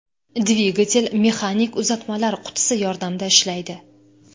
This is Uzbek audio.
Dvigatel mexanik uzatmalar qutisi yordamida ishlaydi.